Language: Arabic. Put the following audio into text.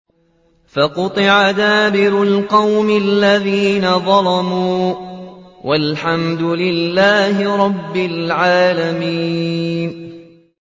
فَقُطِعَ دَابِرُ الْقَوْمِ الَّذِينَ ظَلَمُوا ۚ وَالْحَمْدُ لِلَّهِ رَبِّ الْعَالَمِينَ